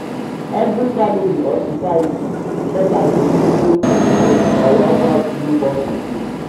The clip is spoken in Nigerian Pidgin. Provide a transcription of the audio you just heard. every family or society get as dem take de celebrate or welcome newborn pikin